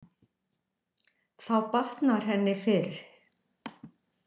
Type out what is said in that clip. Þá batnar henni fyrr.